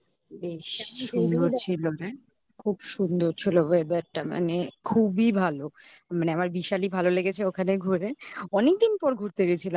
বেশ সুন্দর ছিল রে. খুব সুন্দর ছিল weather টা. মানে খুবই ভালো আমার বিশালই ভালো লেগেছে. ওখানে ঘুরে অনেকদিন পর ঘুরতে গেছিলাম.